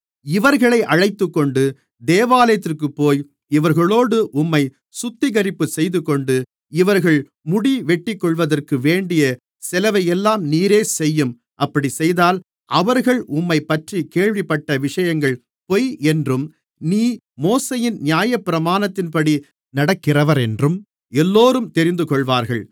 இவர்களை அழைத்துக்கொண்டு தேவாலயத்திற்கு போய் இவர்களோடு உம்மை சுத்திகரிப்புச் செய்துகொண்டு இவர்கள் முடி வெட்டிக்கொள்வதற்கு வேண்டிய செலவையெல்லாம் நீரே செய்யும் அப்படிச் செய்தால் அவர்கள் உம்மைப்பற்றிக் கேள்விப்பட்ட விஷயங்கள் பொய் என்றும் நீ மோசேயின் நியாயப்பிரமாணத்தின்படி நடக்கிறவரென்றும் எல்லோரும் தெரிந்துகொள்வார்கள்